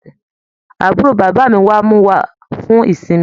Àbúrò bàbá mí wá mú wà fún ìsinmi.